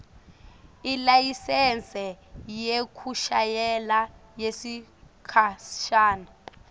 ilayisensi yekushayela yesikhashana